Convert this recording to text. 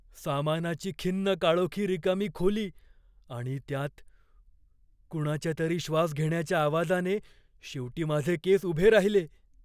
सामानाची खिन्न काळोखी रिकामी खोली आणि त्यात कुणाच्यातरी श्वास घेण्याच्या आवाजाने शेवटी माझे केस उभे राहिले.